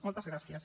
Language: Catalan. moltes gràcies